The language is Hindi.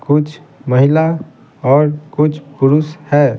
कुछ महिला और कुछ पुरुष है.